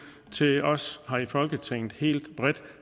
til os her i folketinget helt bredt